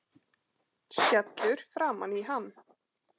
Skellur framan í hann.